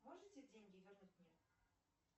можете деньги вернуть мне